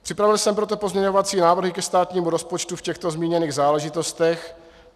Připravil jsem proto pozměňovací návrhy ke státnímu rozpočtu v těchto zmíněných záležitostech.